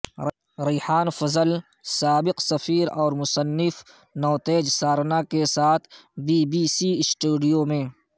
ریحان فضل سابق سفیر اور مصنف نوتیج سارنا کے ساتھ بی بی سی سٹوڈیو میں